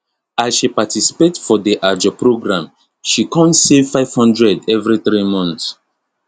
as she participate for the ajo program she kon save 500 every three month